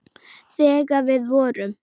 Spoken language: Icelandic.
Þegar við vorum.